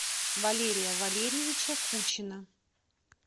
валерия валерьевича кучина